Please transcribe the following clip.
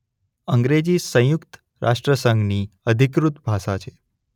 અંગ્રેજી સંયુક્ત રાષ્ટ્ર સંઘની અધિકૃત ભાષા છે.